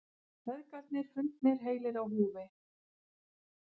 Feðgarnir fundnir heilir á húfi